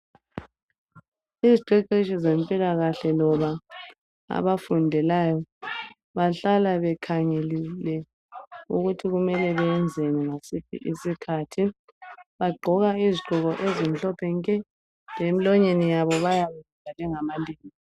Iziqeqeshi zempilakahle loba abafundelayo Bahlala bekhangelile ukuthi kumele beyenzeni ngasiphi isikhathi. Bagqoka izigqoko ezimhlophe nke ,lemlonyeni yabo bayabe bevale ngamalembu.